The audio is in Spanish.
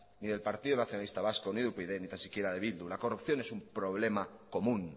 ni del partido nacionalista vasco ni de upyd ni tan siquiera de bildu la corrupción es un problema común